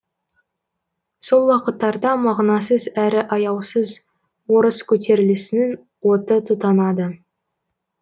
сол уақыттарда мағынасыз әрі аяусыз орыс көтерілісінің оты тұтанады